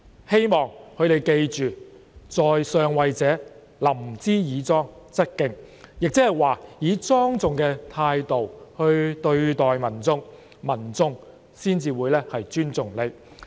希望他們記得，在上位者，臨之以莊則敬，換言之，以莊重的態度來對待民眾，民眾才會尊重他。